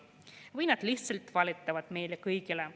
Või nad lihtsalt valetavad meile kõigile.